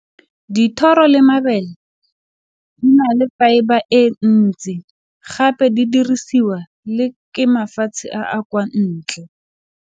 Dithoro le mabele di ne le fibre e ntsi gape di dirisiwa le ke mafatshe a a kwa ntle.